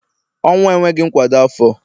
ọnwụ enweghi nkwado afo